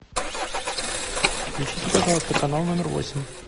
включите пожалуйста канал номер восемь